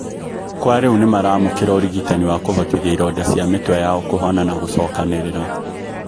Kwa riu nimaraamũkĩra ũrigitani wa kũhotithia ironda cia mĩtwe yao kũhona na kũcokanirĩra.